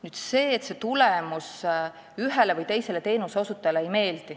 Nüüd sellest, et see tulemus ühele või teisele teenuseosutajale ei meeldi.